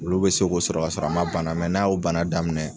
Wulu bɛ se k'o sɔrɔ ka sɔrɔ a ma bana mɛ n'a y'o bana daminɛ,